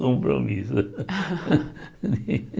Compromisso.